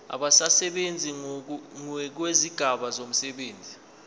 abasebenzi ngokwezigaba zomsebenzi